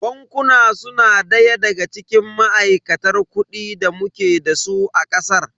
Bankuna su na daya daga cikin ma'aikatar kuɗi da muke dasu a ƙasar.